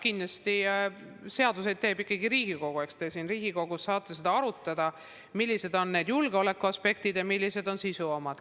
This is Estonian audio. Seadusi teeb ikkagi Riigikogu, nii et eks te siin saate arutada, millised on julgeolekuaspektid ja millised on sisu omad.